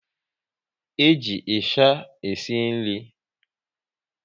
E ji ịsha esi nri